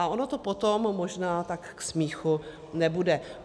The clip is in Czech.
A ono to potom možná tak k smíchu nebude.